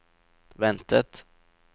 ventet